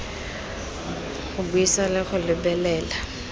go buisa le go lebelela